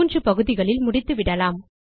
3 பகுதிகளில் முடித்துவிடலாம்